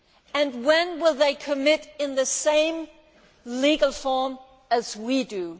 And when will they commit in the same legal form as we